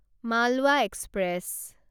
Malwa express